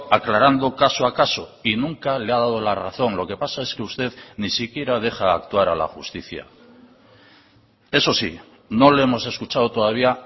aclarando caso a caso y nunca le ha dado la razón lo que pasa es que usted ni siquiera deja actuar a la justicia eso sí no le hemos escuchado todavía